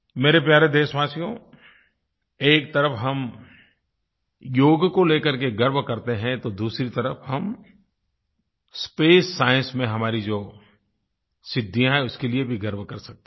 मेरे प्यारे देशवासियो एक तरफ़ हम योग को लेकर के गर्व करते हैं तो दूसरी तरफ़ हम स्पेस साइंस में हमारी जो सिद्धियाँ हैं उसके लिए भी गर्व कर सकते हैं